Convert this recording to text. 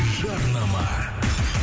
жарнама